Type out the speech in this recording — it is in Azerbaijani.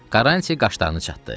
Karranti qaşlarını çatdı.